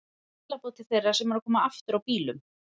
Einhver skilaboð til þeirra sem eru að koma aftur á bílum?